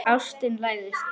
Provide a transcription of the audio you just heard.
Ástin læðist.